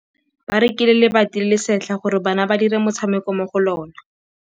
Ba rekile lebati le le setlha gore bana ba dire motshameko mo go lona.